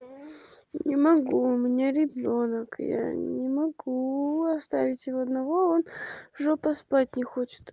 не могу у меня ребёнок я не могу оставить его одного он жопа спать не хочет